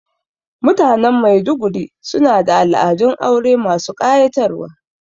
Mutanen Maiduguri su na da al'adun aure masu ƙayatarwa